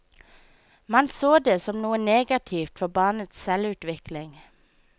Man så det som noe negativt for barnets selvutvikling.